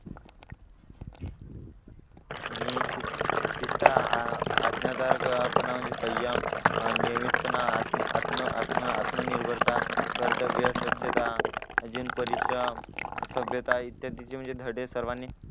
आणि आज्ञाधारक अह आपण म्हणजे सय्यम नियमितपणा आत्म आत्म आत्म आत्मनिर्भरता कर्तव्य स्वच्छता अजून परिश्रम सभ्यता इत्यादीचे म्हणजे धडे सर्वानी